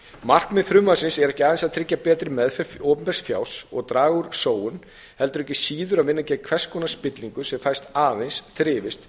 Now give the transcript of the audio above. markmið frumvarpsins er ekki aðeins að tryggja betri meðferð opinbers fjár og draga úr sóun heldur ekki síður að vinna gegn hvers konar spillingu sem fær aðeins þrifist